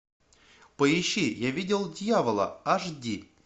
поищи я видел дьявола аш ди